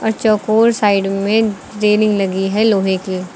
चौकोर साईड में रेलिंग लगी है लोहे की।